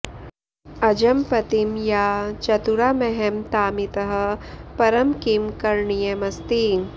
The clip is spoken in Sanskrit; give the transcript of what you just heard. अजं पतिं या चतुरामहं तामितः परं किं करणीयमस्ति